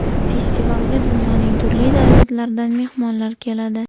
Festivalga dunyoning turli davlatlaridan mehmonlar keladi.